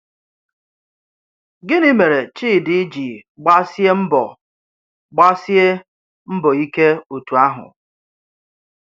Gịnị̀ mè̀rè Chídì jì gbàsíè mbọ̀ gbàsíè mbọ̀ íké otú àhụ̀?